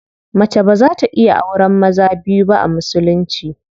Mace baza ta iya auren maza biyu ba a musulunci.